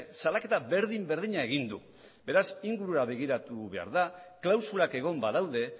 salaketa berdin berdina egin du beraz ingurura begiratu behar da klausulak egon badaude